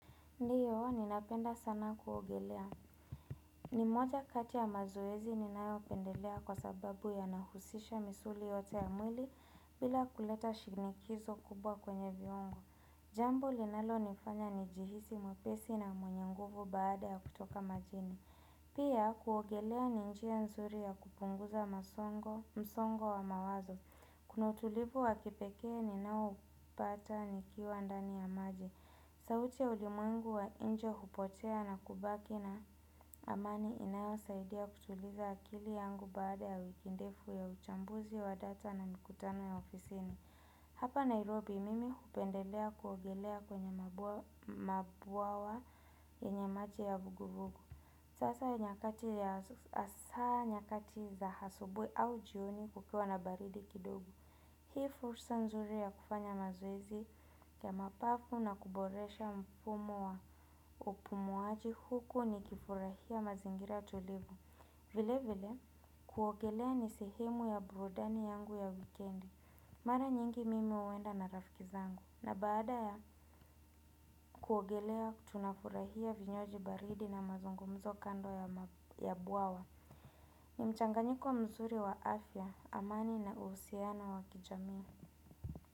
Ndiyo, ninapenda sana kuogelea. Ni moja kati ya mazoezi ninayopendelea kwa sababu yanahusisha misuli yote ya mwili bila kuleta shinikizo kubwa kwenye viungo. Jambo linalonifanya nijihisi mwepesi na mwenye nguvu baada ya kutoka majini. Pia, kuogelea ni njia nzuri ya kupunguza msongo wa mawazo. Kuna utulivu wa kipekee ninaoupata nikiwa ndani ya maji. Sauti ya ulimwengu wa nje hupotea na kubaki na amani inayosaidia kutuliza akili yangu baada ya wiki ndefu ya uchambuzi wa data na mikutano ya ofisini. Hapa Nairobi mimi hupendelea kuogelea kwenye mabwawa yenye maji ya vuguvugu. Hasa nyakati za asubuhi au jioni kukiwa na baridi kidogo. Hii fursa nzuri ya kufanya mazoezi ya mapafu na kuboresha mfumo wa upumuaji huku ni kifurahia mazingira tulivu. Vile vile, kuogelea ni sihemu ya burudani yangu ya wikendi. Mara nyingi mimi huenda na rafiki zangu. Na baada ya kuogelea tunafurahia vinywaji baridi na mazungumzo kando ya bwawa. Ni mchanganyiko mzuri wa afya, amani na uhusiana wa kijamii.